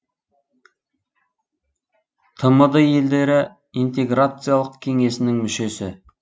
тмд елдері интеграциялық кеңесінің мүшесі